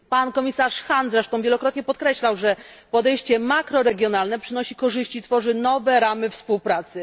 Komisarz Hahn wielokrotnie podkreślał, że podejście makroregionalne przynosi korzyści, tworzy nowe ramy współpracy.